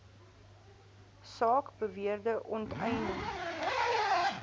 saak beweerde onteiening